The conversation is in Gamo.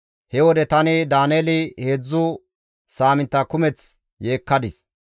He wode tani Daaneeli heedzdzu saamintta kumeththi yeekkadis.